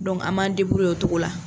an m'an o cogo la.